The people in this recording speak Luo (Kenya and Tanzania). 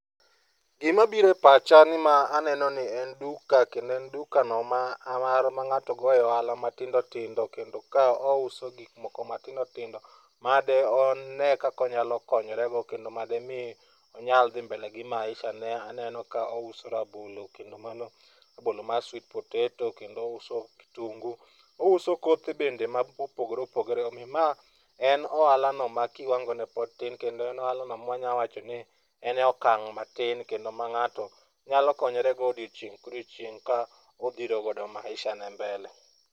Gima biro e pacha ni ma aneno ni en duka kendo en dukano ma ng'ato goye ohala matindo tindo kendo kae ouso gik oko matindo tindo ma deone konyalo konyorego kendo madimi onyal dhi mbele gi maishane . Aneno ka ouso rabolo, kendo mano rabolo mar sweet potato kendo ouso kitungu. Ouso kothe bende mopogore opogore omiyo mae en ohala no ma kiwango ne pod tin kendo en ohala no manyalo wacho ni en e okang' matin kendo anyalo wacho ni en ohala mang'ato nyalo konyorego odiechieng' ka odiechieng' ka odhiro godo maisha ne mbele.